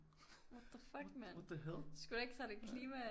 What the fuck mand sgu da ikke særlig klima